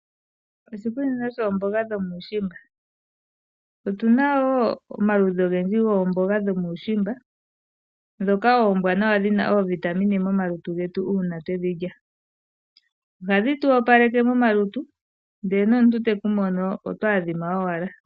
Oshikunino shoomboga dhomuushimba. Otuna wo omaludhi ogendji goomboga dhomuushimba dhoka oombwanawa dhina oovitamine momalutu getu uuna twedhilya. Ohadhi tu opaleke momalutu ndele nomuntu tekumono oto adhima owala.